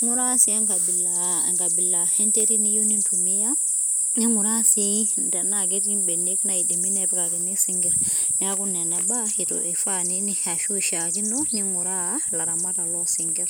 ingura si enkabila enkabila ee enterit niyieu nintumia ningura sii tena ketii ibenek naidimi nepikakini isinkir, niaku nena baa ifaa ashu ishakino ningura ilaramatak losinkir.